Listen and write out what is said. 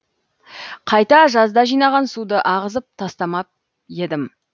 қайта жазда жинаған суды ағызып тастамап едім